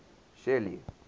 shelly